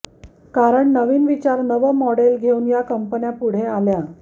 कारण नवीन विचार नवं मॉडेल घेऊन या कंपन्या पुढे आल्या